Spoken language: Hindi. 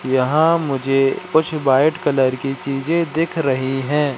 यहां मुझे कुछ व्हाइट कलर की चीजे दिख रही है।